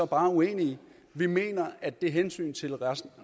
bare uenige vi mener at det hensyn til resten